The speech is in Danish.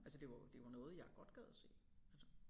Altså det var jo det var noget jeg godt gad at se altså